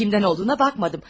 Ah, kimdən olduğuna baxmadım.